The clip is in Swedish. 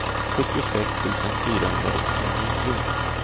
sjuttiosex tusen fyrahundraåttionio